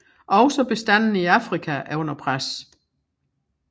Også bestandene i Afrika er under pres